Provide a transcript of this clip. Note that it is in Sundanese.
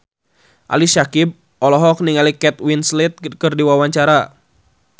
Ali Syakieb olohok ningali Kate Winslet keur diwawancara